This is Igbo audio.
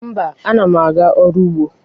Mba, ana m aga ọrụ n’ugbo.